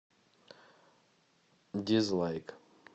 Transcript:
дизлайк